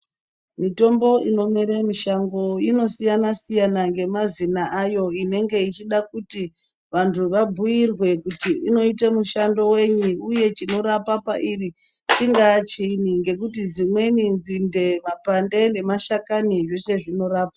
Mitombo inomere mishango inosiyana siyana nemazino ayo inenge ichida kuti vantu vabhuirwe kuti inoite mishando wenyi uye chinorapa pairi chingaa chiini nekuti dzimweni nzinde mapande nemashakani zveshe zvinorapa.